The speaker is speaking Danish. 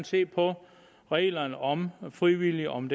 se på reglerne om frivillige og om